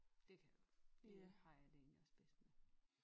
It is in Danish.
Det det har jeg det egentlig også bedst med